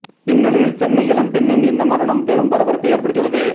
இந்த நிலையில் சென்னை இளம்பெண்ணின் இந்த மரணம் பெரும் பரபரப்பை ஏற்படுத்தி உள்ளது